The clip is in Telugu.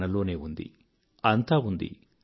మనలోనే ఉంది అంతా ఉంది